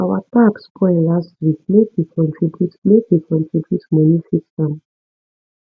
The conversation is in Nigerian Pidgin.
our tap spoil last week make we contribute make we contribute moni fix am